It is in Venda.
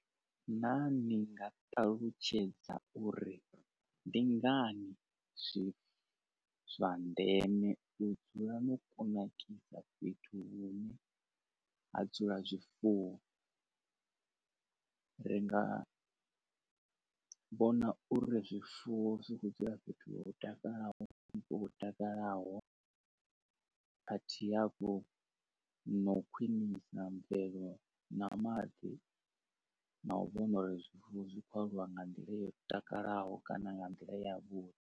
Naa ni nga ṱalutshedza uri ndi ngani zwi zwa ndeme u dzula no kunakisa fhethu hune ha dzula zwifuwo? Ri nga vhona uri zwifuwo zwi ḓi dzula fhethu ho takalaho ho takalaho a thi hafhu na u khwinisa mvelelo na maḓi na u vhona uri zwifuwo zwi khou aluwa nga nḓila yo takalaho kana nga nḓila ya vhuḓi.